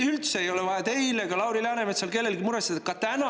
Üldse ei ole vaja teil ega Lauri Läänemetsal ega kellelgi vaja muretseda.